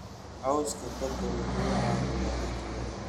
Cawska badda wuxuu caawiyaa in dhulka la ilaaliyo.